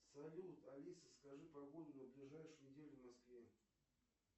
салют алиса скажи погоду на ближайшую неделю в москве